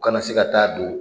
U kana na se ka taa don.